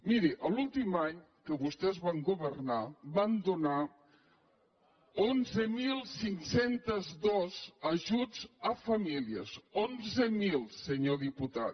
miri l’últim any que vostès van governar van donar onze mil cinc cents i dos ajuts a famílies onze mil senyor diputat